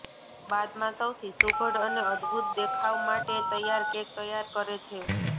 બાદમાં સૌથી સુઘડ અને અદભૂત દેખાવ માટે તૈયાર કેક તૈયાર કરે છે